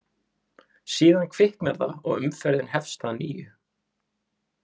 Síðan kviknar það og umferðin hefst að nýju.